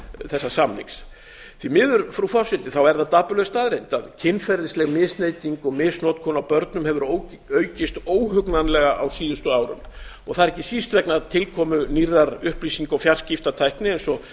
þessa samnings því miður frú forseti er það dapurleg staðreynd að kynferðisleg misneyting og misnotkun á börnum hefur aukist óhugnanlega á síðustu árum og það er ekki síst vegna tilkomu nýrrar upplýsinga og fjarskiptatækni eins og